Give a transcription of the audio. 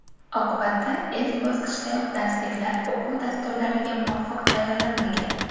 Oqibatda ilk bosqichdayoq darsliklar o‘quv dasturlariga muvofiq tayyorlanmagan.